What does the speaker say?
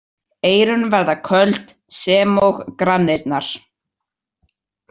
Eyrun verða köld sem og granirnar.